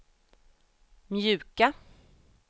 mjuka